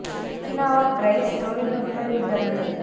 Okinawa பிரெய்ஸ் தொழில்நுட்ப விபரங்கள்